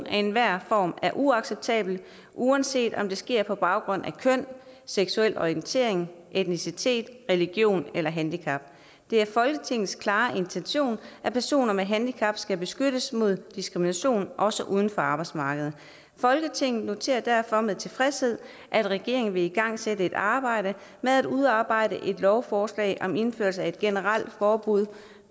af enhver form er uacceptabelt uanset om det sker på baggrund af køn seksuel orientering etnicitet religion eller handicap det er folketingets klare intention at personer med handicap skal beskyttes mod diskrimination også uden for arbejdsmarkedet folketinget noterer derfor med tilfredshed at regeringen vil igangsætte et arbejde med at udarbejde et lovforslag om indførelse af et generelt forbud